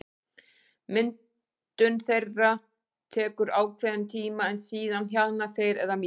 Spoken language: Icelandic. Myndun þeirra tekur ákveðinn tíma en síðan hjaðna þeir eða mýkjast.